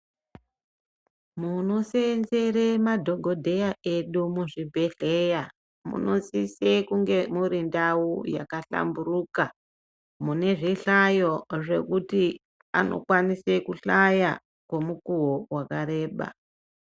Munosenzere madhokodheya edu muzvibhehleya munosise kunge muri ndau yakahlamburuka, mune zvihlayo zvekuti anokwanise kuhlaya kwemukuwo wakareba.